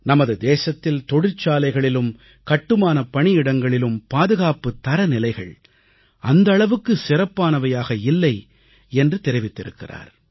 நமது தேசத்தில் தொழிற்சாலைகளிலும் கட்டுமானப் பணியிடங்களிலும் பாதுகாப்புத் தரநிலைகள் அந்த அளவுக்கு சிறப்பானவையாக இல்லை என்று தெரிவித்திருக்கிறார்